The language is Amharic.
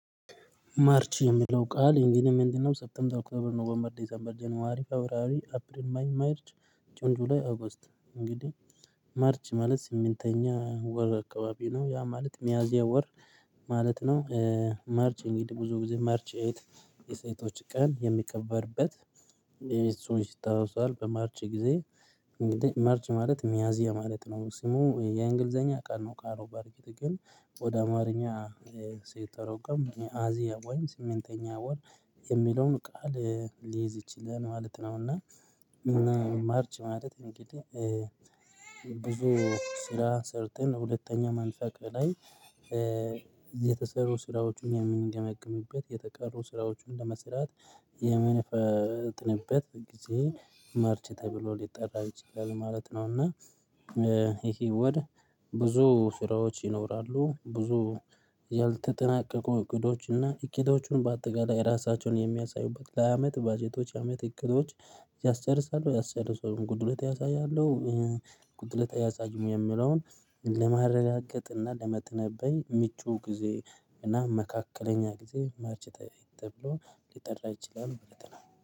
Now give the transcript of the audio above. ማርች የሚለው ቃል እንግዲህ ምንድነው? ሰብተምበር ኦክቶበር ኖቨምበር ጀነዋሪ ፌብርዋሪ አፕሪል ሜይ ማርች ጁን ጁላይ ኦገስት እንግዲህ ማርች ማለት ስምንተኛ ወር አካባቢ ነው ያ ማለት ሚያዚያ ወር ማለት ነው። ማርች እንግዲህ ብዙ ብዙ ማርች ኤት የሴቶች ቀን የሚከበርበት እሱን ሲታወስ በማርች ጊዜ። ማርች ማለት ሚያዚያ ማለት ነው ስሙ የእንግሊዘኛ ቀን ነው ቃሉ በርግጥ ግን ወደ አማርኛ ሲተረጎም ሚያዚያ ወይም ስምንተኛ ወር የሚለውን ቃል ሊይዝ ይችላል ማለት ነው። እና ማርች ማለት እንግዲህ ብዙ ስራ ሰርተን ሁለተኛ ማንሳት በላይ እዚህ የተሰሩ ስራዎችን የምንገመግምበት የተቀሩ ስራዎችን ለመስራት የምንፈጥንበት ጊዜ ማርች ተብሎ ሊጠራ ይችላል ማለት ነው። እና ይሄ ወር ብዙ ስራዎች ይኖራሉ ብዙ ያልተጠናቀቁ እቅዶች እና እቅዶቹን በአጠቃላይ ራሳቸውን የሚያሳዩበት ለአመት ባጀቶች ለአመት እቅዶች ያስጨርሳሉ ያስጨርሳሉ ጉድሎት ያሳያለሁ ጉድለች አያሳዩም የሚለውን ለማረጋገጥና ለመተንበይ ምቹ ጊዜ እና መካከለኛ ጊዜ ማርች ተብሎ ሊጠራ ይችላል ማለት ነው